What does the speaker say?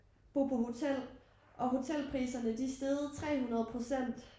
Bo på hotel og hotelpriserne de steget 300%